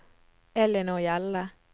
Ellinor Hjelle